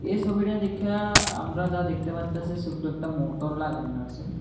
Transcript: এই সোবিটা দেখ্যা আমরা যা দেখতে পারতাসি সোট্ট একটা মোটর লাগানো আসে।